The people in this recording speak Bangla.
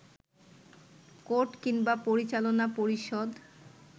কোর্ট কিংবা পরিচালনা পরিষদ